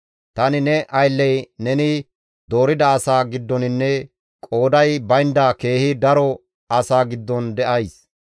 Tani ne aylley neni doorida asaa giddoninne qooday baynda keehi daro asaa giddon de7ays.